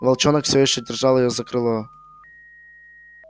волчонок все ещё держал её за крыло